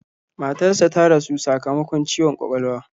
Matarsa ta rasu sakamakon ciwon kwakwalwa.